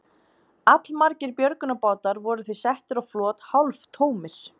Allmargir björgunarbátar voru því settir á flot hálftómir.